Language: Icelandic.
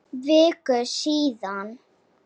Viku síðar.